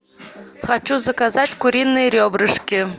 хочу заказать куриные ребрышки